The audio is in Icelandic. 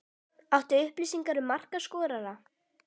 Áttu upplýsingar um markaskorara?